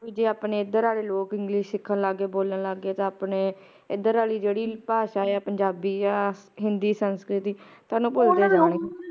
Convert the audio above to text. ਜੇ ਆਪਣੇ ਏਧਰ ਆਲੇ ਲੋਕ english ਸਿੱਖਣ ਲੱਗ ਪੈ ਬੋਲਣ ਲੱਗ ਗਏ ਆਪਣੇ ਏਧਰ ਆਲੀ ਜੇਦੀ ਭਾਸ਼ਾ ਆ ਪੰਜਾਬੀ ਆ ਹਿੰਦੀ ਸਸੰਕ੍ਰਿਤ ਓਹਨੂੰ ਪੁਲਾ ਦੇਣਗੇ